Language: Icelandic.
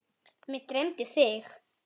Mig dreymdi þig.